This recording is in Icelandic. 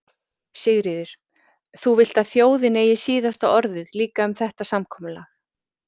Sigríður: Þú vilt að þjóðin eigi síðasta orðið líka um þetta samkomulag?